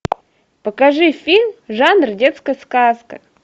покажи фильм жанр детская сказка